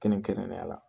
Kɛrɛnkɛrɛnnenya la